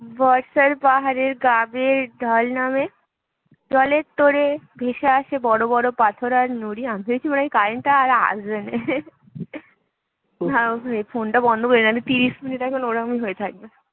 বর্ষার পাহাড়ের গা বেয়ে ঢল নামে, জলে তোড়ে ভেসে আসছে বড়ো বড়ো পাথর আর নুড়ি আমি ভেবেছি মনে হয় current টা আর আসবেনই